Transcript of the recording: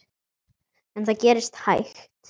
En það gerist hægt.